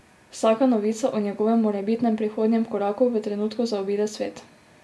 Vsaka novica o njegovem morebitnem prihodnjem koraku v trenutku zaobide svet.